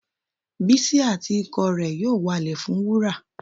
Bísí àti ikọ̀ rẹ yóò walẹ̀ fún wúrà.